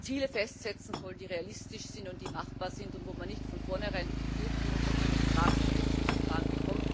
Ziele festsetzen soll, die realistisch sind und die machbar sind und wo man nicht von vornherein befürchten muss, dass man ein Vertragsverletzungsverfahren bekommt.